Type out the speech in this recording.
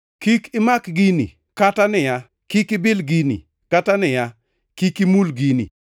“Kik imak gini,” kata niya, “Kik ibil gini,” kata niya, “Kik imul gini”?